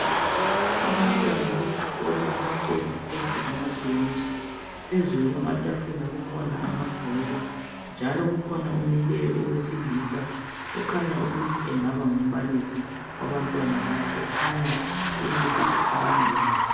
Abantwana besikolo bahlezi phezu kwamabentshi phezulu kwamatafula kukhona amabhuku njalo kukhona omileyo owesilisa okhanya ukuthi angaba ngumbalisi wabantwana laba ekhanya ukuthi ukhuluma labo.